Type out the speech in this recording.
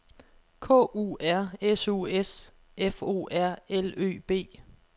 K U R S U S F O R L Ø B